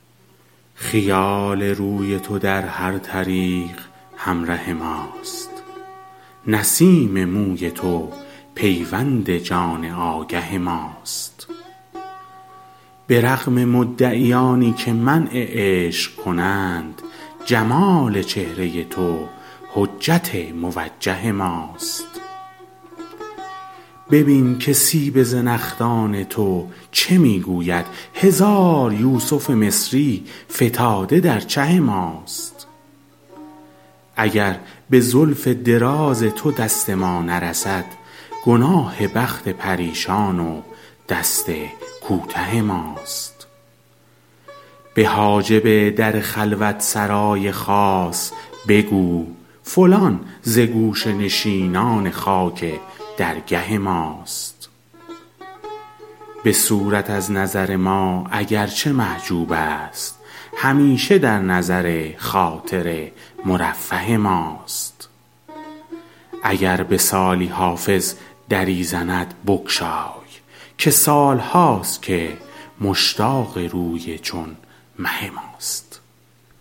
خیال روی تو در هر طریق همره ماست نسیم موی تو پیوند جان آگه ماست به رغم مدعیانی که منع عشق کنند جمال چهره تو حجت موجه ماست ببین که سیب زنخدان تو چه می گوید هزار یوسف مصری فتاده در چه ماست اگر به زلف دراز تو دست ما نرسد گناه بخت پریشان و دست کوته ماست به حاجب در خلوت سرای خاص بگو فلان ز گوشه نشینان خاک درگه ماست به صورت از نظر ما اگر چه محجوب است همیشه در نظر خاطر مرفه ماست اگر به سالی حافظ دری زند بگشای که سال هاست که مشتاق روی چون مه ماست